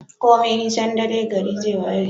komai nisan dare gari zai waye